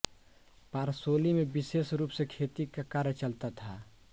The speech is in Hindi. पारसोली में विशेष रूप से खेती का कार्य चलता था